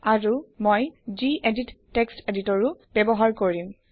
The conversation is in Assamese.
আৰু মই জিএদিত তেক্সত এডিটৰও ব্যৱহাৰ কৰিম